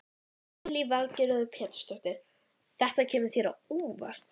Nokkur árangur hefur náðst við meðferð á heilaæxlum.